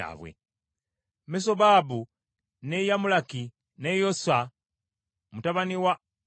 Mesobabu, ne Yamulaki, ne Yosa mutabani wa Amonya;